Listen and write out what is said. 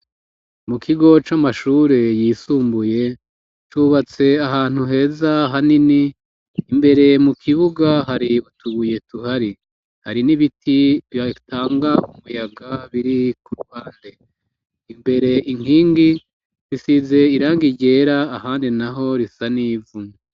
Mu kigo c'amashure yisumbuye cubatse ahantu heza hanini imbere mu kibuga hari utubuye tuhari hari n'ibiti byatanga umuyaga biri ku rubande imbere inkingi bisize iranga iryera ahandi na ho risa n'ivu.